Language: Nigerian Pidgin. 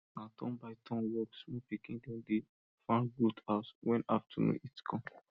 na turnbyturn work small pikin dem dey fan goat house when afternoon heat come